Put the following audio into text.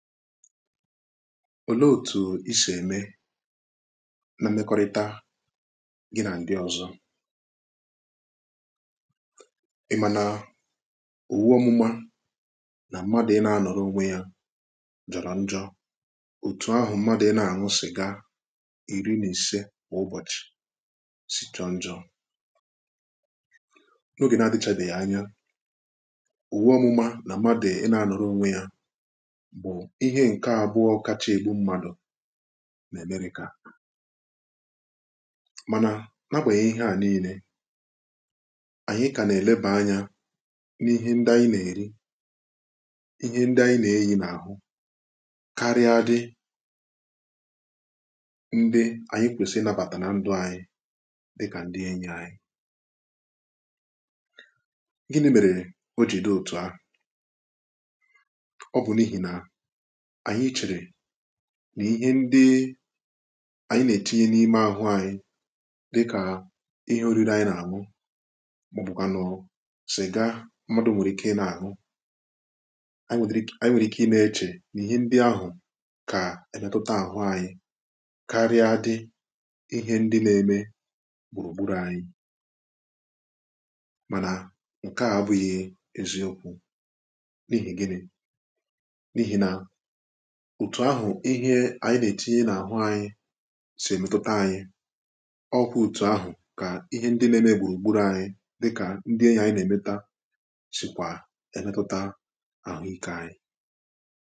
olee otu isì ème na mmekọrịta gị na ndị ọzọ̇ i mànà owu ọmụmȧ nà m̀madụ̀ ị nà-anọrọ onwe ya jọ̀rọ̀ njọ òtù ahụ̀ m̀madụ̀ ị na-àṅụsịga iri nà ise kwa ụbọ̀chị̀ sì jọọ njọ n’ogè nà-adịchàdighị anya owu ọmụmȧ nà m̀madụ̀ ị nà-anọrọ onwe ya ihe nke abụọ kacha egbu mmadụ n’amerịka mana nàgbè ihẹ a niile ànyị ka na-eleba anya n’ ihẹ ndị anyị nà-eri ihẹ ndị anyị nà-eyi n’ ahụ karịa dị ndị anyị kwesịrị ịnabata nà ndụ anyị dịkà ndị enyi anyị gini̇ mèrè o jì dị otu ahụ̀ ọ bụ̀ n’ihì nà anyị chere nà ihe ndị anyị nà-etinye n’ime àhụ anyị dịkà ihe orire anyị nà-àhụ màọbụkwà nọ sịga mmadụ nwere ike ị nà-àhụ anyị nwere ike ị na-eche nà ihe ndị ahụ kà èmetuta àhụ anyị karịadị ihẹ ndị nà-eme gbùrùgburù anyị mànà ǹkẹ̀ a bụghị eziokwu n’ihi gịnị n’ihi nà etu ahụ ihe anyị na-etinye n’ahụ anyị si emetụta anyị ọkwụ otu ahụ ka ihe ndị nà-eme gburugburu anyị dịka ndị anyị na-emeta sitwa netata ahụike anyị